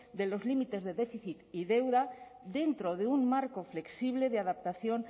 de los límites de déficit y deuda dentro de un marco flexible de adaptación